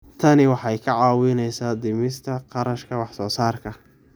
Tani waxay kaa caawinaysaa dhimista kharashka wax soo saarka.